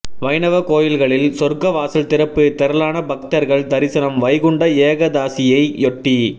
வைணவ கோயில்களில் சொர்க்கவாசல் திறப்பு திரளான பக்தர்கள் தரிசனம் வைகுண்ட ஏகாதசியையொட்டி